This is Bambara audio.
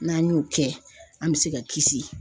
N'an y'o kɛ an me se ka kisi